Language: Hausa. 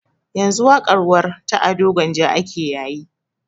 Yanzu waƙar warr ta ado gwanja ake yayi